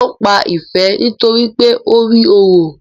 Wón pá Ìfẹ nitoripe o rí òrò